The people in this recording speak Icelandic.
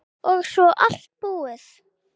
Og svo allt búið.